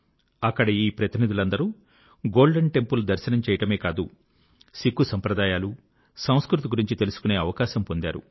అక్కడ ఈ అందరు ప్రతినిధులు గోల్డెన్ టెంపుల్ దర్శనం చేయడమే కాదు సిక్ఖు సంప్రదాయాలు సంస్కృతి గురించి తెలుసుకునే అవకాశం పొందారు